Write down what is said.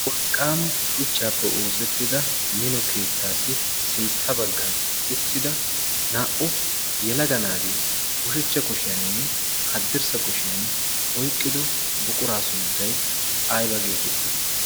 wolqqam shuchchaappe oosettida mino keettaassi sintta baggan uttida naa'u yalaga naati ushechcha kushiyaaninne haddirssa kushiyan oyqqido buquraa sunttay ayba geetettii?